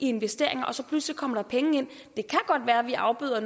investere og så pludselig kommer der penge ind det kan godt være vi afbøder